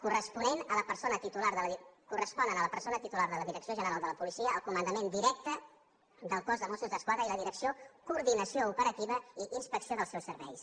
correspon a la persona titular de la direcció general de la policia el comandament directe del cos de mossos d’esquadra i la direcció coordinació operativa i inspecció dels seus serveis